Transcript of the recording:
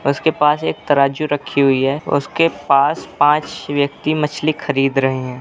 उसके पास एक तराजू रखी हुई है उसके पास पाँच व्यक्ति मछली खरीद रहे हैं।